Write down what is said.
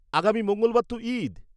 -আগামী মঙ্গলবার তো ঈদ।